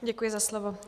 Děkuji za slovo.